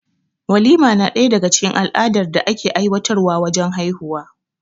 Walima na daga cikin al'adar da ake aiwatar wa wajen haihuwa